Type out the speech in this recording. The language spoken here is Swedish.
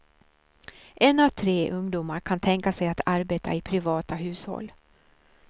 En av tre ungdomar kan tänka sig att arbeta i privata hushåll.